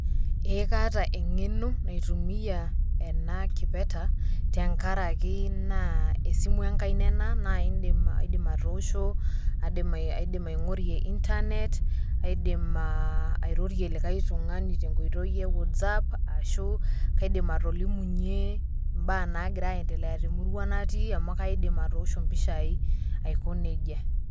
Ee kaata engeno naitumia naitumia ena kipeta tenkaraki naa esimu enkaina ena naa indim atoosho , indim aingorie internet , indim airorie likae tungani tenkoitoi e whatsapp ashu kaidim atolimunye imbaa nagira aendelea te murua natii amu kaidim atoosho impishai aiko nejia.